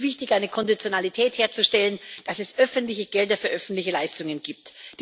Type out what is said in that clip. Es ist wichtig, eine Konditionalität herzustellen, dass es öffentliche Gelder für öffentliche Leistungen gibt.